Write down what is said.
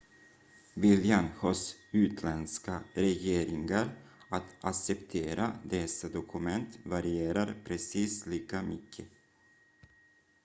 viljan hos utländska regeringar att acceptera dessa dokument varierar precis lika mycket